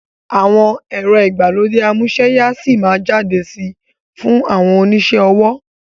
Àwọn ẹ̀rọ ìgbàlódé amúsẹ́ya síí má jáde sí fún àwọn onisẹ́ ọwọ́